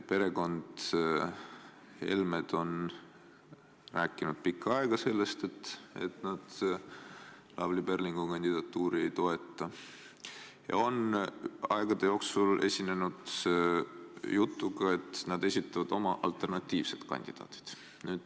Perekond Helme on rääkinud pikka aega sellest, et nad Lavly Perlingu kandidatuuri ei toeta, ja nad on teatud aja jooksul esinenud ka jutuga, et nad esitavad oma alternatiivsed kandidaadid.